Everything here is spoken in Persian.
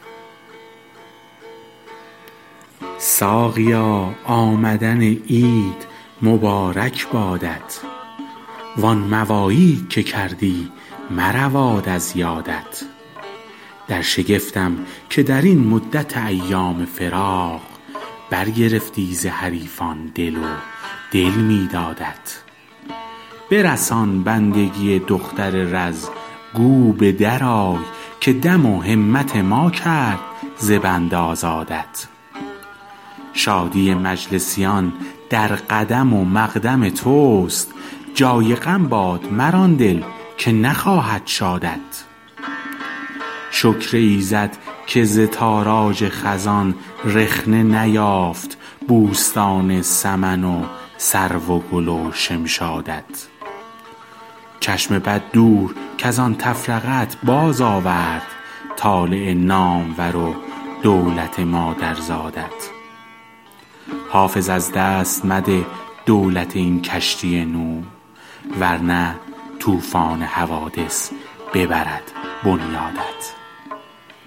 ساقیا آمدن عید مبارک بادت وان مواعید که کردی مرود از یادت در شگفتم که در این مدت ایام فراق برگرفتی ز حریفان دل و دل می دادت برسان بندگی دختر رز گو به درآی که دم و همت ما کرد ز بند آزادت شادی مجلسیان در قدم و مقدم توست جای غم باد مر آن دل که نخواهد شادت شکر ایزد که ز تاراج خزان رخنه نیافت بوستان سمن و سرو و گل و شمشادت چشم بد دور کز آن تفرقه ات بازآورد طالع نامور و دولت مادرزادت حافظ از دست مده دولت این کشتی نوح ور نه طوفان حوادث ببرد بنیادت